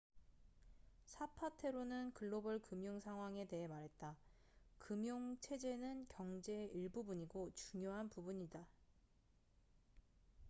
"사파테로는 글로벌 금융 상황에 대해 말했다. "금융 체제는 경제의 일부분이고 중요한 부분이다.